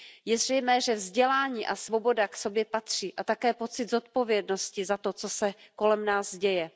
Je zřejmé, že vzdělání a svoboda k sobě patří a také pocit zodpovědnosti za to, co se kolem nás děje.